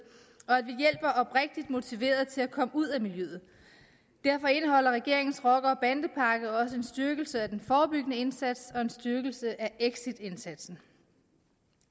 og oprigtig motiverede til at komme ud af miljøet derfor indeholder regeringens rocker og bandepakke også en styrkelse af den forebyggende indsats og en styrkelse af exitindsatsen